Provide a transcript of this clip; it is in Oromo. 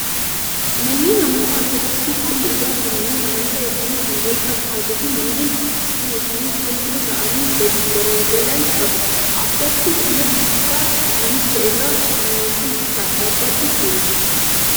Manneen amantaa orthodoksii haalli ijaarsa manneen amantaa isaanii kan wal fakkaatuu fi manneen bocni isaanii golboo ta'anii gadi garagalan qabu. Addatti immoo gubbaa manichaa irra fannoowwan gosa adda addaatu jiru.